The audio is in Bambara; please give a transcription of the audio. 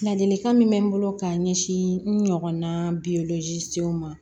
Ladilikan min bɛ n bolo ka ɲɛsin n ɲɔgɔnna senw ma